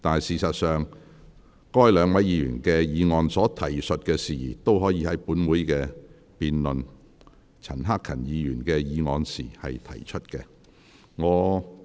事實上，該兩位議員議案所提述的事宜都可以在本會辯論陳克勤議員的議案時提出。